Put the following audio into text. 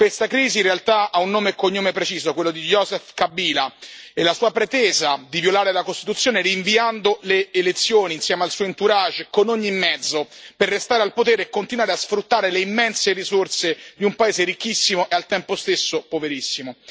Questa crisi in realtà ha un nome e un cognome preciso, quello di Joseph Kabila, e la sua pretesa di violare la Costituzione rinviando le elezioni, insieme al suo entourage, con ogni mezzo, per restare al potere e continuare a sfruttare le immense risorse di un paese ricchissimo e al tempo stesso poverissimo.